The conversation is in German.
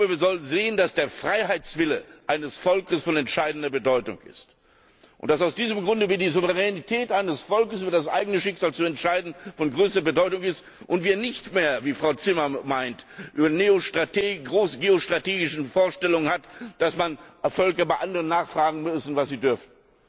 Wir sollten sehen, dass der Freiheitswille eines Volkes von entscheidender Bedeutung ist, dass aus diesem Grunde die Souveränität eines Volkes, über das eigene Schicksal zu entscheiden, von größter Bedeutung ist und dass wir nicht mehr wie Frau Zimmer meint die großgeostrategische Vorstellung haben, dass Völker bei anderen nachfragen müssen, was sie tun dürfen.